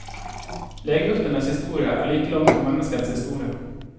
Legeurtenes historie er like lang som menneskets historie.